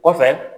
Kɔfɛ